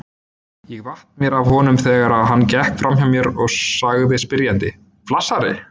Ég vatt mér að honum þegar hann gekk framhjá mér og sagði spyrjandi: Flassari?